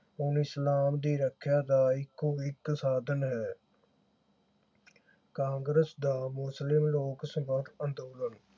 ਹੁਣ ਇਸਲਾਮ ਦੀ ਰੱਖਿਆ ਦਾ ਇਕੋ ਇਕ ਸਾਧਨ ਹੈ ਕਾਂਗਰਸ ਦਾ ਮੁਸਲਿਮ ਲੋਕ ਸਮਰੱਥ ਅੰਦੋਲਨ